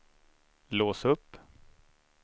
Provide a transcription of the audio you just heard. lås upp